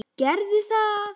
Gerðu það!